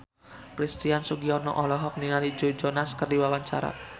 Christian Sugiono olohok ningali Joe Jonas keur diwawancara